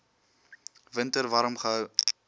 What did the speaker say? winter warm gehou